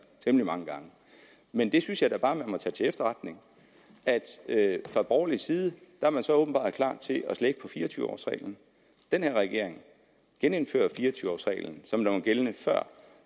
temmelig mange gange men det synes jeg da bare man må tage til efterretning altså at fra borgerlig side åbenbart er klar til at slække på fire og tyve års reglen den her regering genindfører fire og tyve års reglen som den var gældende før